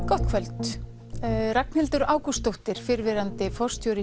gott kvöld Ragnhildur Ágústsdóttir fyrrverandi forstjóri